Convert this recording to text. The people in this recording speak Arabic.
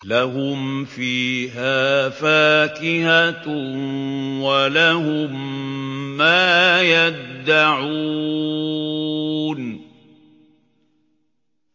لَهُمْ فِيهَا فَاكِهَةٌ وَلَهُم مَّا يَدَّعُونَ